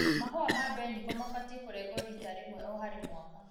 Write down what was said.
Mahũa ma mbeniko mabatie kũrengwo rita rĩmwe o harĩ mwaka.